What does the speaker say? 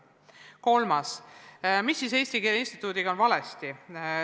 Kolmandaks, mis on siis Eesti Keele Instituudiga valesti?